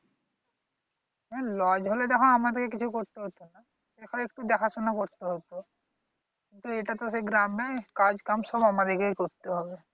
হ্যাঁ lodge হলে তখন আমাদেরকে কিছু করতে হত না। সেখন একটু দেখা-শুনা করতে হত তো এটা তো সেই গ্রাম নয় কাজকাম সব আমাদেরকেই করতে হবে।